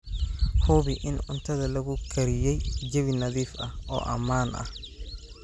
Hubi in cuntada lagu kariyey jawi nadiif ah oo ammaan ah.